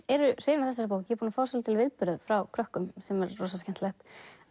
hrifin af þessari bók ég er búin að fá viðbrögð frá krökkum sem er rosa skemmtilegt